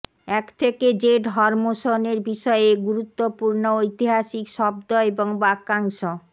এক থেকে জেড হরমোশনের বিষয়ে গুরুত্বপূর্ণ ঐতিহাসিক শব্দ এবং বাক্যাংশ